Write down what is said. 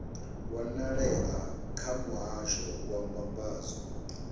wanalea kha muhasho wa mbambadzo